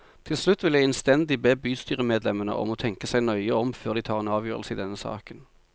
Til slutt vil jeg innstendig be bystyremedlemmene om å tenke seg nøye om før de tar en avgjørelse i denne saken.